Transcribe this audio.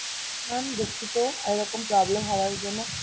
Mam দুঃখিত এরকম problem হওয়ার জন্য